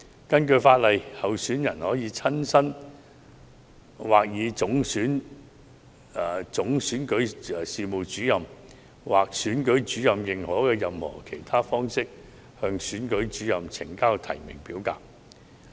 根據法例，候選人可親身或以總選舉事務主任或選舉主任認可的任何其他方式，向選舉主任呈交提名表格。